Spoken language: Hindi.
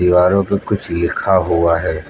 दीवारो पे कुछ लिखा हुआ है।